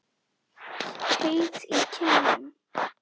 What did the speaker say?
Heit í kinnum.